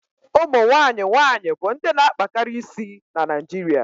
ụmụ nwanyịwaanyị bụ ndị na akpakari isi na Naịjiria